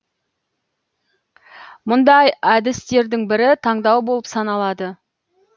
мұндай әдістердің бірі таңдау болып саналады